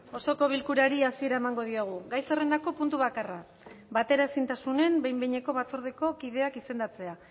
osoko bilkurari hasiera emango diogu gai zerrendako puntu bakarra bateraezintasunen behin behineko batzordeko kideak izendatzea